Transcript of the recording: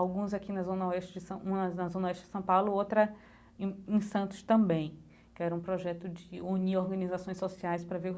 Alguns aqui na zona oeste de São, umas na zona oeste de São Paulo, outra em em Santos também, que era um projeto de unir organizações sociais para